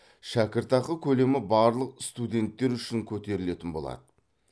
шәкіртақы көлемі барлық студенттер үшін көтерілетін болады